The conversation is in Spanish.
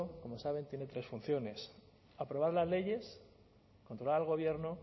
como saben tiene tres funciones aprobar las leyes controlar al gobierno